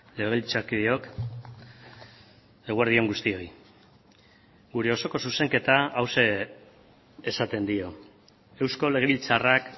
legebiltzarkideok eguerdi on guztioi gure osoko zuzenketa hauxe esaten dio eusko legebiltzarrak